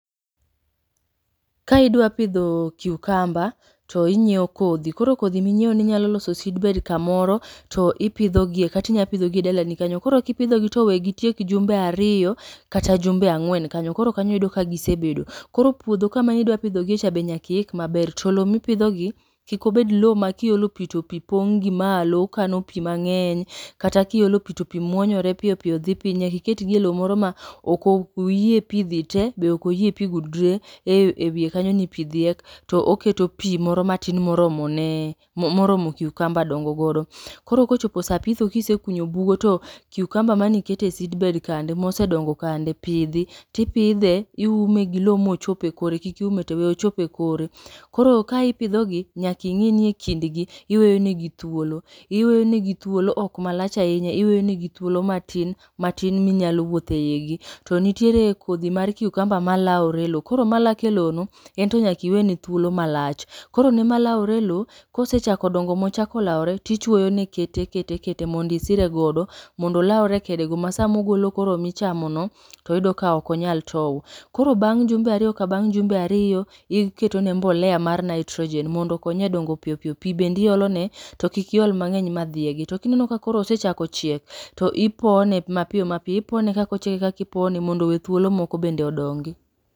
Ka idwa pidho kiukamba, to inyiewo kodhi. Koro kodhi minyiewo no inyalo loso sidbed kamoro to ipidho gie, katinya pidho gi e dala ni kanyo. Koro kipidhogi to we gitiek jumbe ariyo kata jumbe ang'wen kanyo. Koro kanyo yudo ka gisebedo, koro kanyo yudo ka gise bedo. Koro puodho kama idwa pidho gie cha be nyaki ik maber. To lo mipidho gi, kik obed lo ma kiolo pi to pi pong' gi malo, kano pi mang'eny. Kata kiolo pi to pi muonyore piyo piyo dhi piny, nyaki ket gi e lo moro ma ok oyie pi dhi te be ok oyie pi gudre e ewiye kanyo ni pi dhiek. To oketo pi moro matin moromo ne moromo kiukamba dongo godo. Koro kochopo sa pitho kise kunyo bugo to kiukamba manikete sidbed kande mose dongo kande, pidhi. Tipidhe iume gi lo mochop e kore, kik iume te we ochop e kore. Koro ka ipidho gi, nyaki ing'i ni e kind gi iweyo ne gi thuolo. Iweyo ne gi thuolo, ok marach ahinya iweyo negi thuolo matin matin minyalo wuothe igi. To nitiere kodhi mar kikamba ma laore e lo, koro ma lak e lo no ento nyakiwene thuolo malach. Koro ne malawore e lo, kose chako dongo mochako lawore, tichwoyo ne kete kete kete mondisire godo. Mondolawre go e kede go ma samogolo koro michamo no, toyudo ka okonyal tow. Koro bang' jumbe ariyo ka jumbe ariyo, iketo ne mbolea mar Nitrogen mondo okonye e dongo piyo piyo. Pi bendi olo ne to kik iol mang'eny ma dhiegi. To kineno ka osechako chiek, to ipone ma piyo ma piyo, ipone kakochiek e kakipone mondo owe thuolo moko bende odongi.